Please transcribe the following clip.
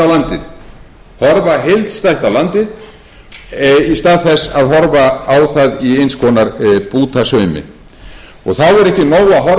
landið horfa heildstætt á landið í stað þess að horfa á það í eins konar bútasaumi þá er ekki nóg